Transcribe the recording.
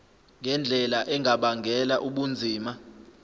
ngendlela engabangela ubunzima